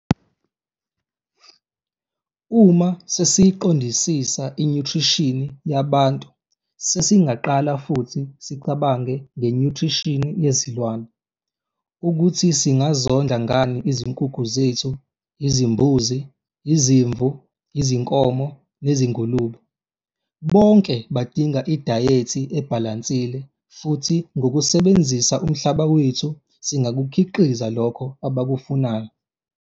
Uma sesiyiqondisisa inyuthrishini yabantu sesingaqala futhi sicabange ngenyuthrishini yezilwane - ukuthi singazondla ngani izinkukhu zethu, izimbuzi, izimvu, izinkomo nezingulube. Bonke badinga idayethi ebhalansile futhi ngokusebenzisa umhlaba wethu, singakukhiqiza lokho abakufunayo.